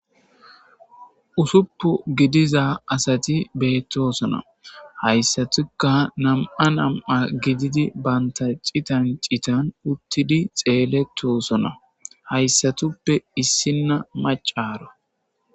Ussupun gidiza asati beetosona. Haysatika nam'an nam'an gididi banta citan citan uttidi xeeletosona. Haysatupa issina mccaro.